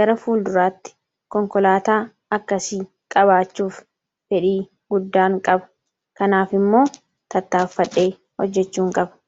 Gara fuulduratti konkolaataa akkasii qabaachuuf fedhii guddaan qaba. Kanaaf immoo tattaafadhee hojjechuun qaba.